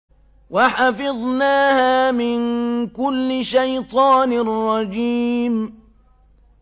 وَحَفِظْنَاهَا مِن كُلِّ شَيْطَانٍ رَّجِيمٍ